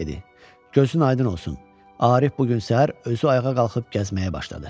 Gözün aydın olsun, Arif bu gün səhər özü ayağa qalxıb gəzməyə başladı.